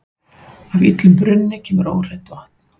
Af illum brunni kemur óhreint vatn.